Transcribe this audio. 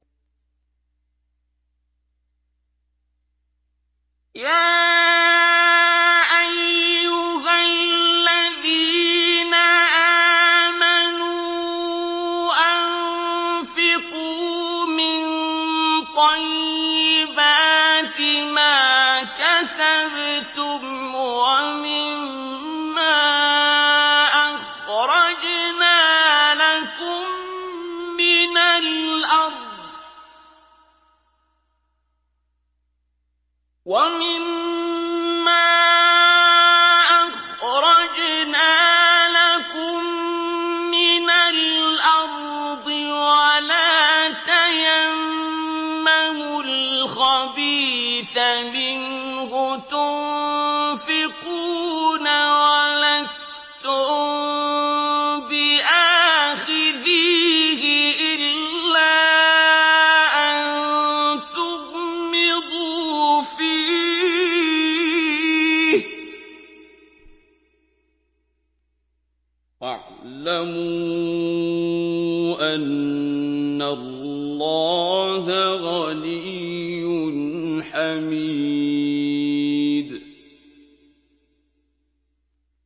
يَا أَيُّهَا الَّذِينَ آمَنُوا أَنفِقُوا مِن طَيِّبَاتِ مَا كَسَبْتُمْ وَمِمَّا أَخْرَجْنَا لَكُم مِّنَ الْأَرْضِ ۖ وَلَا تَيَمَّمُوا الْخَبِيثَ مِنْهُ تُنفِقُونَ وَلَسْتُم بِآخِذِيهِ إِلَّا أَن تُغْمِضُوا فِيهِ ۚ وَاعْلَمُوا أَنَّ اللَّهَ غَنِيٌّ حَمِيدٌ